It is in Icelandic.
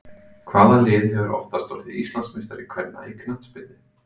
Hvaða lið hefur oftast orðið Íslandsmeistari kvenna í knattspyrnu?